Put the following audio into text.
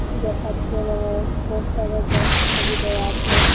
দেখাচ্ছে এইরকম দশ টাকার দশটা ছবি দেয়া রয়েছে।